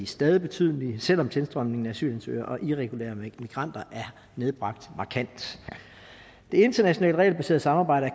stadig betydelige selv om tilstrømningen af antal asylansøgere og irregulere immigranter er nedbragt markant det internationale regelbaserede samarbejde